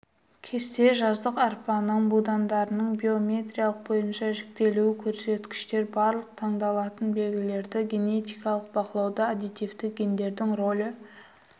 кесте жаздық арпаның будандарының биометриялық бойынша жіктелуі көрсеткіштер барлық таңдалатын белгілерді генетикалық бақылауда аддитивті гендердің ролі